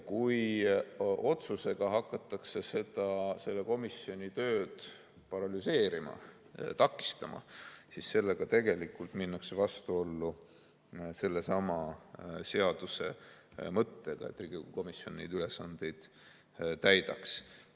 Kui otsusega hakatakse selle komisjoniga tööd paralüseerima, seda takistama, siis sellega tegelikult minnakse vastuollu sellesama seaduse mõttega, et Riigikogu komisjon neid ülesandeid täidaks.